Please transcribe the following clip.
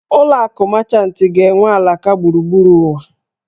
Ụlọ akụ Mechantị ga-enwe alaka gburugburu ụwa